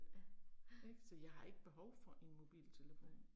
Ja, ja. Nej